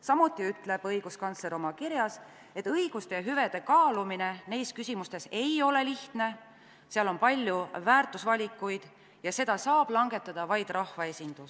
Samuti ütles õiguskantsler oma kirjas, et õiguste ja hüvede kaalumine neis küsimustes ei ole lihtne, seal on palju väärtusvalikuid ja seda otsust saab langetada vaid rahvaesindus.